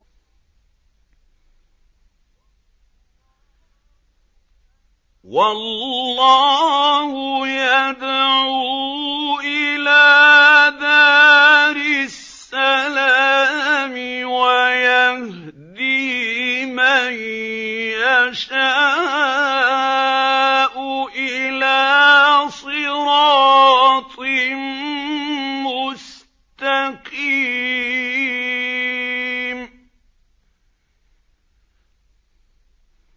وَاللَّهُ يَدْعُو إِلَىٰ دَارِ السَّلَامِ وَيَهْدِي مَن يَشَاءُ إِلَىٰ صِرَاطٍ مُّسْتَقِيمٍ